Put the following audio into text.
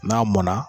N'a mɔnna